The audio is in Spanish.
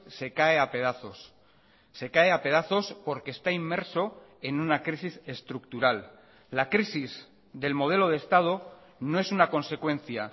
se cae a pedazos se cae a pedazos porque está inmerso en una crisis estructural la crisis del modelo de estado no es una consecuencia